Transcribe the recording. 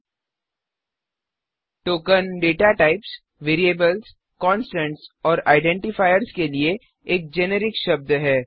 token data typesडेटा types variables variables constants कॉन्स्टन्टऔर Identifiersआइडेन्टीफायर्स के लिए एक जेनिरिक शब्द है